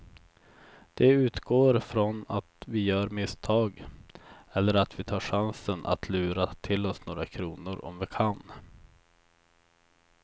De utgår från att vi gör misstag eller att vi tar chansen att lura till oss några kronor om vi kan.